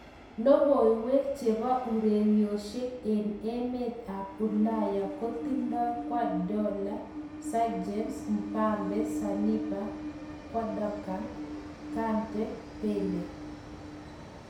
Logoiywek chebo ureryoshek eng emet ab ulaya kotindai Guordiola, Sanchez, Mbappe, Saliba, Gundogan, Kante, Bale